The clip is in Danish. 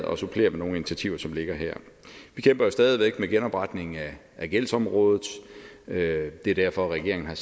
at supplere med nogle initiativer som ligger her vi kæmper jo stadig væk med genopretningen af gældsområdet det er derfor regeringen